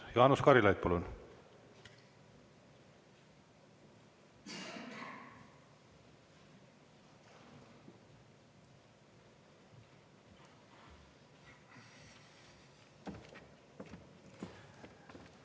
Jaanus Karilaid, palun!